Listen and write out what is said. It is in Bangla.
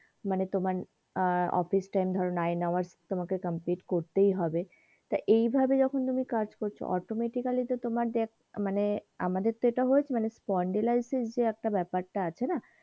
মানে তোমার আহ অফিস time ধরো nine hours তোমাকে complete করতেই হবে টা এই ভাবে যখন তুমি কাজ করছো automatically তোমার দেখ মানে আমাদের তো হয়েছে মানে spondylitis যে একটা ব্যাপার তা আছে না,